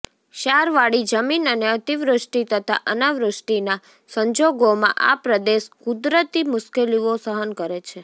ક્ષારવાળી જમીન અને અતિવૃષ્ટિ તથા અનાવૃષ્ટિના સંજોગોમાં આ પ્રદેશ કુદરતી મુશ્કેલીઓ સહન કરે છે